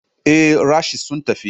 Ee, rashes sun tafi.